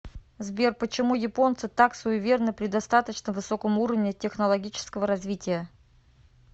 сбер почему японцы так суеверны при достаточно высоком уровне технологического развития